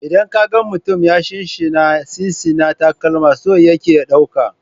Idan ka ga mutum yana shinshina/sinsina takalami, so yake ya ɗauka.